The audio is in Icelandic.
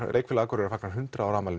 leikfélag Akureyrar fagnar hundrað ára afmæli